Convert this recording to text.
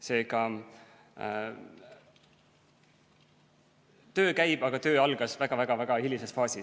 Seega, töö käib, aga töö algas väga-väga hilises faasis.